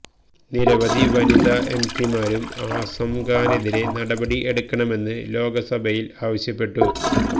നിരവധി വനിതാ എംപിമാരും ആസം ഖാനെതിരെ നടപടി എടുക്കണമെന്ന് ലോക്സഭയില് ആവശ്യപ്പെട്ടു